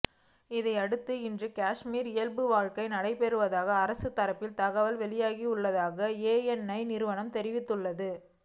இதனையடுத்து இன்று காஷ்மீரில் இயல்பு வாழ்க்கை நடைபெறுவதாக அரசு தரப்பில் தகவல் வெளியாகியுள்ளதாக ஏஎன்ஐ நிறுவனம் தெரிவித்துள்ளது